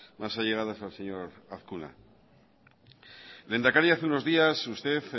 más allegadas al señor azkuna lehendakari hace unos días usted